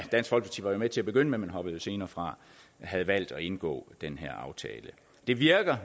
med til at begynde med men hoppede senere fra havde valgt at indgå den her aftale det virkede